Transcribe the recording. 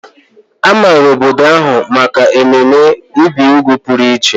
A maara obodo ahụ maka mmemme ibi úgwù pụrụ iche.